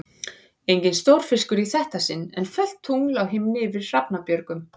Enginn stórfiskur í þetta sinn, en fölt tungl á himni yfir Hrafnabjörgum.